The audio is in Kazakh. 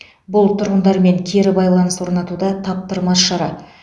бұл тұрғындармен кері байланыс орнатуда таптырмас шара